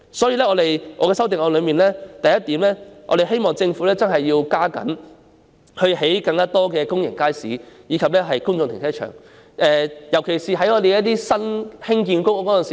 因此，我的修正案的第一項，是希望政府加緊興建更多公營街市及公眾停車場，尤其是在新的公營房屋項目中。